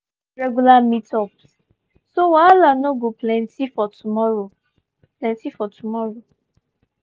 we don arrange regular meet-ups so wahala no go plenty for tomorrow. plenty for tomorrow.